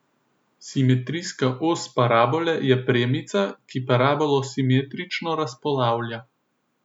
Simetrijska os parabole je premica, ki parabolo simetrično razpolavlja.